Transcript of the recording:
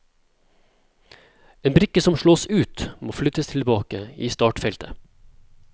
En brikke som slås ut, må flyttes tilbake i startfeltet.